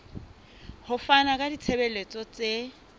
ho fana ka ditshebeletso tse